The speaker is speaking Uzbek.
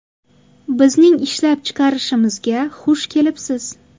Bizning ishlab chiqarishimizga xush kelibsiz!